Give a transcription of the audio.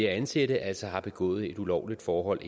at ansætte altså har begået et ulovligt forhold